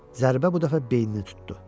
Zərbə bu dəfə beynini tutdu.